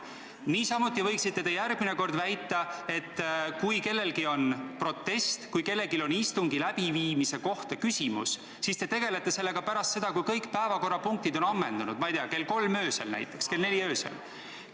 Niisamuti võiksite järgmine kord väita, et kui kellelgi on protest või kui kellelgi on istungi läbiviimise kohta küsimus, siis te tegelete sellega pärast seda, kui kõik päevakorrapunktid on ammendatud, näiteks kell 3 või kell 4 öösel.